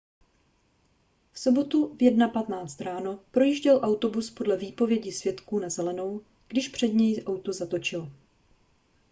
v sobotu v 1:15 ráno projížděl autobus podle výpovědi svědků na zelenou když před něj auto zatočilo